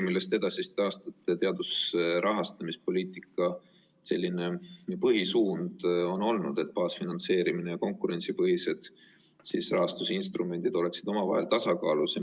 Edasiste aastate teaduse rahastamise poliitika põhisuund on olnud, et baasfinantseerimine ja konkurentsipõhised rahastusinstrumendid peaksid olema omavahel tasakaalus.